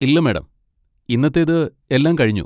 ഇല്ല മാഡം, ഇന്നത്തേത് എല്ലാം കഴിഞ്ഞു.